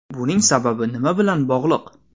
Buning sababi nima bilan bog‘liq?